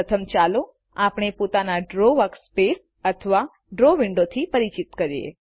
પ્રથમ ચાલો આપણે પોતાને ડ્રો વર્કસ્પેસ અથવા ડ્રો વિન્ડોવથી પરિચિત કરીએ